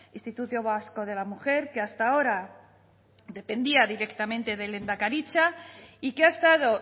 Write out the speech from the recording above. instituto vasco de la mujer que hasta ahora dependía directamente de lehendakaritza y que ha estado